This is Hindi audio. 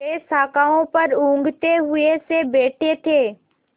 वे शाखाओं पर ऊँघते हुए से बैठे थे